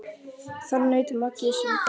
Þar naut Maggi sín best.